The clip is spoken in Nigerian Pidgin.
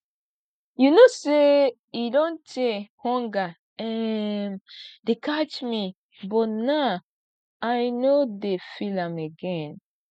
you no say e don tey hunger um dey catch me but now i no dey feel am again